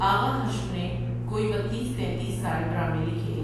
آغا حشر نے کوئی بتیس ،تینتیس سال ڈرامے لکھے ۔